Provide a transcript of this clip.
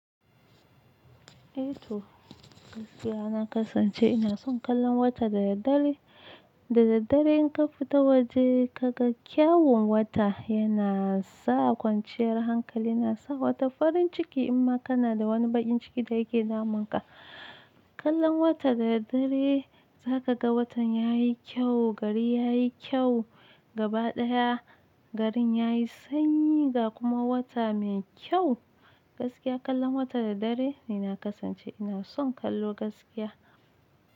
Eh to gaskiya na kasance ina son kallon wata da daddare, da daddare in ka fita waje ka ga kyawun wata yana sa kwanciyar hankali, yana sa wata farin ciki in ma kana da wani bakin ciki da yake damun ka. Kallon wata da daddare za ka ga watan ya yi kyau, gari ya yi kyau, gaba ɗaya garin ya yi sanyi ga kuma wata mai kyau, gaskiya kallon wata da daddare ni na kasance ina son kallo gaskiya.